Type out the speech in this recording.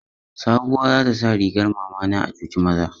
Sabuwa za ta sa rigar mama na a cuci maza.